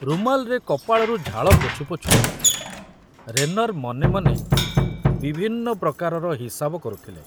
ରୁମାଲରେ କପାଳରୁ ଝାଳ ପୋଛୁ ପୋଛୁ ରେନର ମନେ ମନେ ବିଭିନ୍ନ ପ୍ରକାରର ହିସାବ କରୁଥିଲେ।